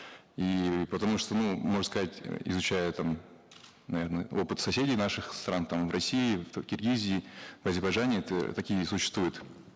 и потому что ну можно сказать э изучая там наверно опыт соседей наших стран там в россии в киргизии в азербайджане такие существуют